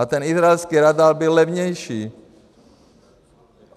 A ten izraelský radar byl levnější.